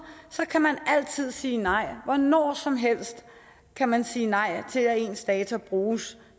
så kan man altid sige nej når som helst kan man sige nej til at ens data bruges